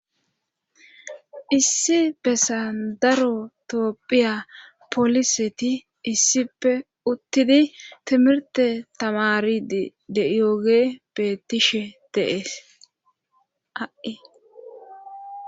issi be sandarotoopphiya poliseti issippe uttidi timirte tamaridi de yooge betishe deees ha